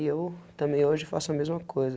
E eu também hoje faço a mesma coisa.